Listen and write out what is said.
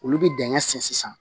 Olu bɛ dingɛ sen sisan